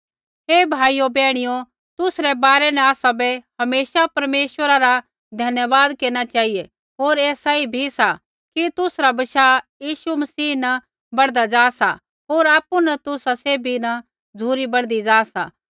हे भाइयो बैहणियो तुसरै बारै न आसाबै हमेशा परमेश्वरा रा धन्यवाद केरना चेहिऐ होर ऐ सही भी सा कि तुसरा बशाह यीशु मसीह न बढ़दा ज़ा सा होर आपु न तुसा सैभी न झ़ुरी बढ़दी ज़ा सा